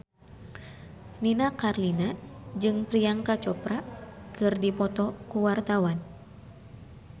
Nini Carlina jeung Priyanka Chopra keur dipoto ku wartawan